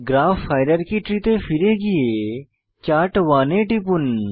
graph hierarchy tree তে ফিরে গিয়ে চার্ট1 এ টিপুন